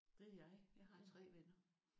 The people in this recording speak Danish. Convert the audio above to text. Det er jeg. Jeg har 3 venner